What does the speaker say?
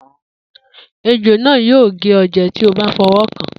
Ejò náà yóò gé ọ jẹ tí o bá fọwọ́ kàn án.